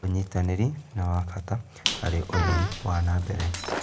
ũnyitanĩrii nĩ wa bata harĩ ũthii wa na mbere.